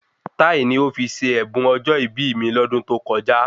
Táì ni ó fi ṣe ẹ̀bùn ọjọ́ ìbí mi lọ́dún tó kọjá